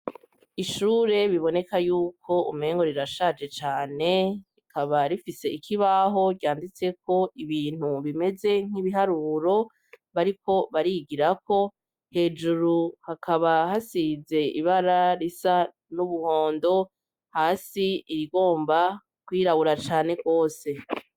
Ishure biboneka yuko umpengo rirashaje cane rikaba rifise ikibaho ryanditse ko ibintu bimeze nk'ibiharuro bari ko barigirako hejuru hakaba hasize ibara risa n'ubuhondo hasi irigomba kwirawura cane ane kwose.